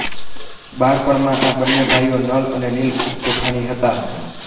બાળપણમાં આ બંને ભાઈઓ નલ અને નીલ ખૂબ તોફાની હતા